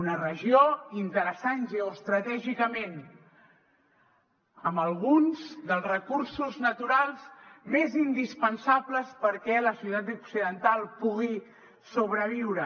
una regió interessant geoestratègicament amb alguns dels recursos naturals més indispensables perquè la societat occidental pugui sobreviure